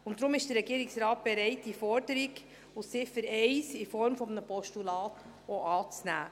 Deshalb ist der Regierungsrat auch bereit, die Forderung aus Ziffer 1 in Form eines Postulats anzunehmen.